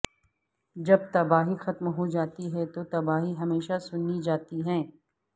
جب تباہی ختم ہو جاتی ہے تو تباہی ہمیشہ سنی جاتی ہے